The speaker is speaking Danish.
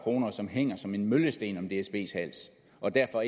og som hænger som en møllesten om dsbs hals og derfor